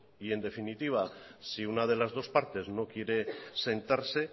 y en definitiva si una de las dos partes no quiere sentarse